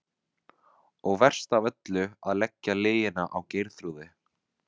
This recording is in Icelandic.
Og verst af öllu að leggja lygina á Geirþrúði.